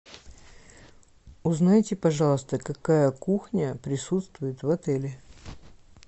узнайте пожалуйста какая кухня присутствует в отеле